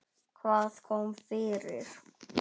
Hvað kom fyrir?